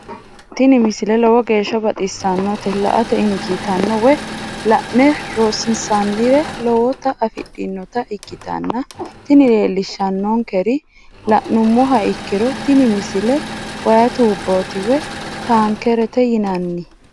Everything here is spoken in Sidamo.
tini misile lowo geeshsha baxissannote la"ate injiitanno woy la'ne ronsannire lowote afidhinota ikkitanna tini leellishshannonkeri la'nummoha ikkiro tini misile way tuubbooti woy taankereeti yinanni.